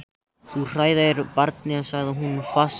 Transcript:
Þú hræðir barnið, sagði hún fastmælt.